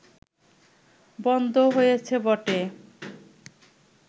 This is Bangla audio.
বন্ধ হয়েছে বটে